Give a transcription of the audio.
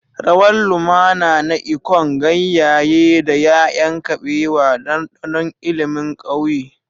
Rawar lumana na ikonng, ganyaye, da 'ya'yan kabewa, ɗanɗanon ilimin ƙauye.